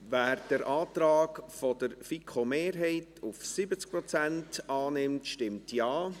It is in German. Wer den Antrag der FiKo-Mehrheit auf 70 Prozent annimmt, stimmt Ja.